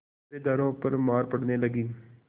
पहरेदारों पर मार पड़ने लगी